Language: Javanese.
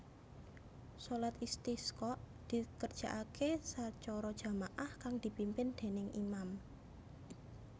Shalat Istisqa dikerjakake sacara jama ah kang dipimpin dèning imam